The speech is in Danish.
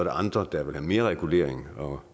andre der vil have mere regulering og